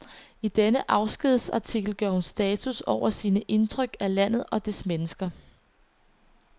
I denne afskedsartikel gør hun status over sine indtryk af landet og dets mennesker.